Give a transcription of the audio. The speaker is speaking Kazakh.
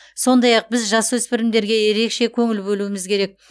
сондай ақ біз жасөспірімдерге ерекше көңіл бөлуіміз керек